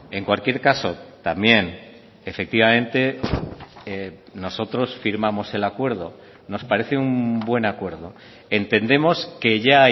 en cualquier caso también efectivamente nosotros firmamos el acuerdo nos parece un buen acuerdo entendemos que ya